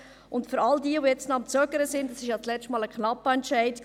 Und für all jene, die jetzt zögern: Es war ja beim letzten Mal ein knappes Resultat.